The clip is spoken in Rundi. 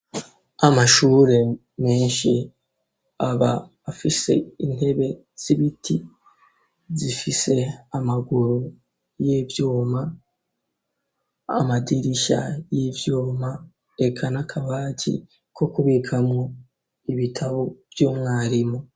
Amashuri menshi aba afise intebe z'ibiti zifise amaguru y'ivyuma amadirishya y'ivyuma reka n'akabati ko kubika mu ibitabo vy'umwarimu.